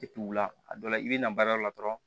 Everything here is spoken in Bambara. Depi wula a dɔw la i bɛ na baarayɔrɔ la dɔrɔn